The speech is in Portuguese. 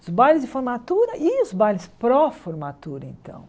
Os bailes de formatura e os bailes pró-formatura, então.